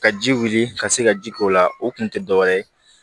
Ka ji wuli ka se ka ji k'o la o kun tɛ dɔ wɛrɛ ye